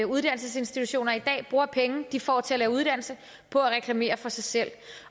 uddannelsesinstitutioner i dag bruger penge de får til at lave uddannelse på at reklamere for sig selv